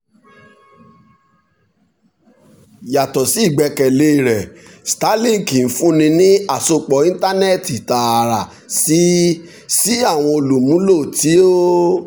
yato si igbẹkẹle rẹ starlink n funni ni asopọ intanẹẹti taara si si awọn olumulo ti o